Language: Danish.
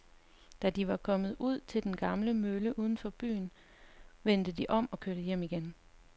Da de var kommet ud til den gamle mølle uden for byen, vendte de om og kørte hjem igen.